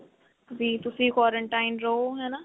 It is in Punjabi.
ਵੀ ਤੁਸੀਂ quarantine ਰਹੋ ਹਨਾ.